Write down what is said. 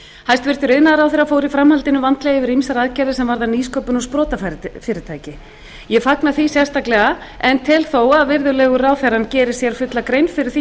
hæstvirtur iðnaðarráðherra fór í framhaldinu vandlega yfir ýmsar aðgerðir sem varðar nýsköpun og sprotafyrirtæki ég fagna því sérstaklega en tel þó að virðulegur ráðherra geri sér fulla grein fyrir því